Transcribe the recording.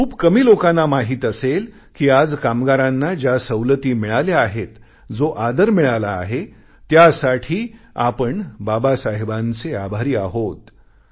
आणि खूप कमी लोकांना माहित असेल कि आज कामगारांना ज्या सवलती मिळाल्या आहेत जो आदर मिळाला आहे त्यासाठी आपण बाबासाहेबांचे आभारी आहोत